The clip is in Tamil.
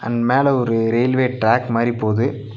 மேல ஒரு ரெயில்வே டிராக் மாரி போது.